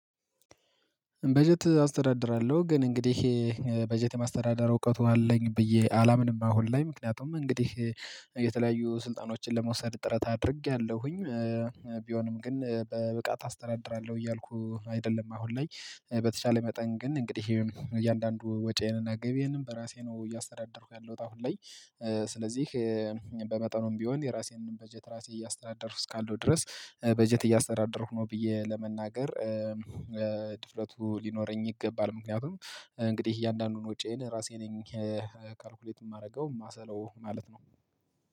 በጀት አስተዳድራለሁ ግን እንግዲህ በጀት የማስተዳደር እውቀቱ አለኝ ብዬ አላምንም። አሁን ላይ ምክንያቱም እንግዲህ የተለያዩ ስልጣኖችን ለመውሰድ ጥረት አድርጌያለሁኝ። ቢሆንም ግን በብቃት አስተዳድራለሁ እያልኩ አይደለም። አሁን ላይ በተቻለ መጠን ግን እንግዲህ ይሄም እያንዳንዱ ወጪዬንና ገቢዬንም በራሴ ነው እያስተዳደርኩ ያለሁት አሁን ላይ። ስለዚህ በመጠኑም ቢሆን የራሴንም በጀት ራሴ እያስተዳደርኩ እስካለሁ ድረስ በጀት እያስተዳደርኩ ነው ብዬ ለመናገር። ድፍረቱ ሊኖረኝ ይገባል ምክንያቱም እንግዲህ እያንዳንዱን ውጪዬን ራሴ ነኝ ካልኩሌት የማደርገው የማሰለው ማለት ነው